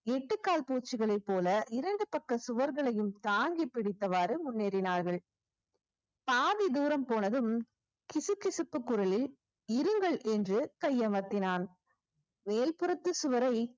எட்டுக்கால் பூச்சிகளைப் போல இரண்டு பக்க சுவர்களையும் தாங்கிப் பிடித்தவாறு முன்னேறினார்கள் பாதி தூரம் போனதும் கிசுகிசுப்பு குரலில் இருங்கள் என்று கையமர்த்தினான் மேல்புறத்து சுவரை